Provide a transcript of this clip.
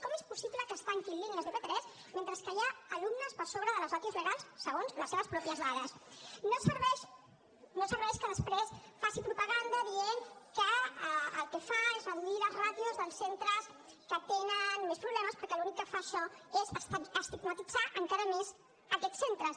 com és possible que es tanquin línies de p3 mentre hi ha alumnes per sobre de les ràtios legals segons les seves pròpies dades no serveix no serveix que després faci propaganda dient que el que fa es reduir les ràtios dels centres que tenen més problemes perquè l’únic que fa això és estigmatitzar encara més aquests centres